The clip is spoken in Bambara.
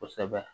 Kosɛbɛ